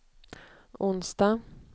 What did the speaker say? onsdag